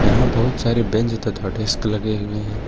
यहां बहुत सारे बेंच तथा डेस्क लगे हुए हैं।